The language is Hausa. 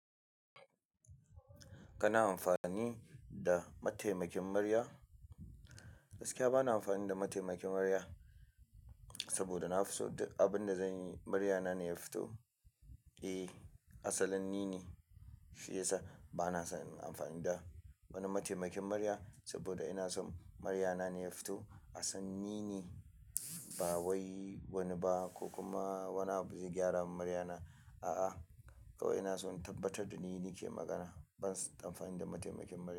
Kana amfani da mataimakin murya? Gaskiya bana amfani da mataimakin murya, saboda na fi so duk abin da zanyi, murya na ne ya fito. Eh, asalin ni ne shi yasa bana son in amfani da wani mataimakin murya saboda ina so murya na ne ya fito. Asalin ni ne, ba wai wani ba ko kuma wani abu zai gyara mun murya na, a'a kawai ina so in tabbatar da ni nike magana. Bansan amfani da mataimakin murya.